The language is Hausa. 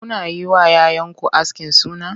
Kuna yi wa 'ya 'yanku askin suna?